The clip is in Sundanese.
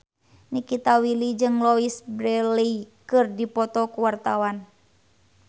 Nikita Willy jeung Louise Brealey keur dipoto ku wartawan